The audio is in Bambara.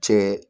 Cɛ